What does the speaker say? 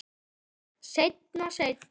Seinna, seinna.